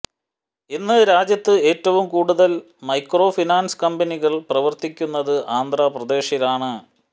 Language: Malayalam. ഇന്ന് രാജ്യത്ത് ഏറ്റവും കൂടുതൽ മൈക്രോഫിനാൻസ് കമ്പനികൾ പ്രവർത്തിക്കുന്നത് ആന്ധ്രാപ്രദേശിലാണ്